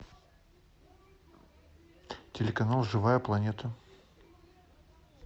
телеканал живая планета